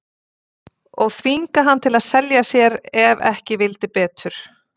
Og þvinga hann til að selja sér ef ekki vildi betur.